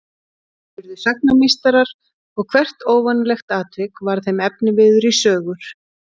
Þeir urðu sagnameistarar og hvert óvanalegt atvik varð þeim efniviður í sögur.